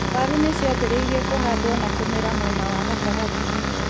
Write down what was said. Waru nĩ ciambĩrĩirie kũhandwo na kũmera mwena wa gatagatĩ.